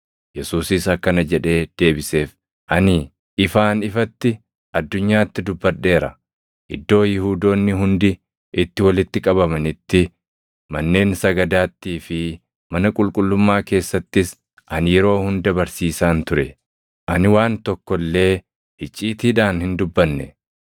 Yesuusis akkana jedhee deebiseef; “Ani ifaan ifatti addunyaatti dubbadheera; iddoo Yihuudoonni hundi itti walitti qabamanitti, manneen sagadaattii fi mana qulqullummaa keessattis ani yeroo hunda barsiisaan ture. Ani waan tokko illee icciitiidhaan hin dubbanne.